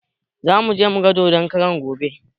Zamuje mugan dodon karan gobe